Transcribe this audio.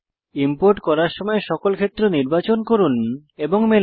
import করার সময় সকল ক্ষেত্র নির্বাচন করুন এবং মেলান